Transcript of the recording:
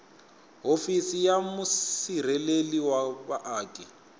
hofisi ya musirheleli wa vaaki